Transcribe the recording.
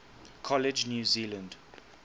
college new zealand